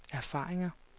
erfaringer